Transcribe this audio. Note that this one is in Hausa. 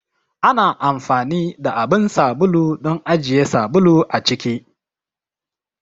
Ana anfani da abun sabulu don ajiye sabulu a ciki.